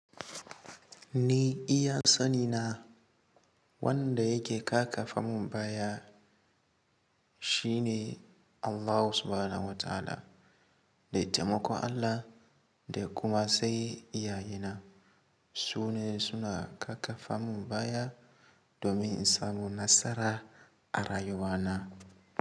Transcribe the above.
Ni iya sani na wanda yake ƙakafa mun baya shi ne Allah Subhanahu wa Ta'ala. Da taimakon Allah da kuma sai iyaye na su ne su na ƙarfafa mun baya domin in samu nasara a rayuwa na.